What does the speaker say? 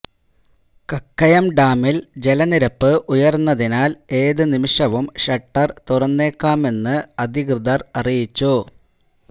കക്കയം ഡാമില് ജല നിരപ്പ് ഉയര്ന്നതിനാല് ഏതു നിമിഷവും ഷട്ടര് തുറന്നേക്കാമെന്നു അധികൃതര് അറിയിച്ചു